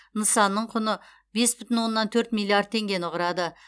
нысанның құны бес бүтін оннан төрт миллиард теңгені құрады